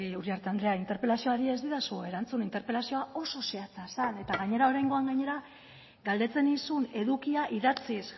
uriarte anderea interpelazioari ez didazue erantzun interpelazioa oso zehatza zen eta gainera oraingoan gainera galdetzen nizun edukia idatziz